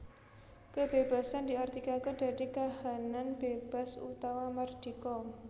Kebébasan diartikaké dadi kahanan bébas utawa mardika